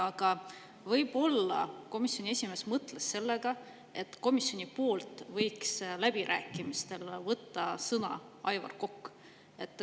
Aga võib-olla komisjoni esimees mõtles seda, et komisjoni nimel võiks läbirääkimistel võtta sõna Aivar Kokk.